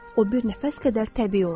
O bir nəfəs qədər təbii olacaqdır.